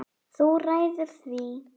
Þú ræður því.